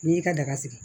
N'i y'i ka daga sigi